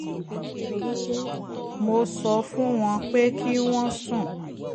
mo sọ fún wọn pé kí wọ́n sún